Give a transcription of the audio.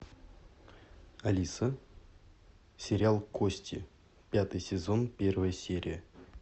алиса сериал кости пятый сезон первая серия